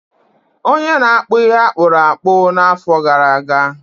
onye na-akpụ ihe akpụrụ akpụ n’afọ gara aga